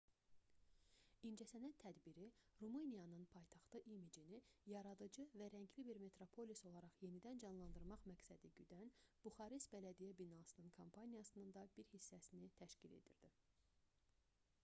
i̇ncəsənət tədbiri rumıniyanın paytaxtı imicini yaradıcı və rəngli bir metropolis olaraq yenidən canlandırmaq məqsədi güdən buxarest bələdiyyə binasının kampaniyasının da bir hissəsinin təşkil edirdi